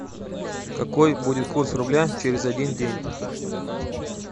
какой будет курс рубля через один день